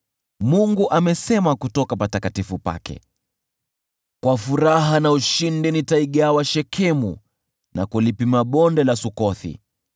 Mungu amenena kutoka patakatifu pake: “Nitaigawa Shekemu kwa ushindi na kulipima Bonde la Sukothi.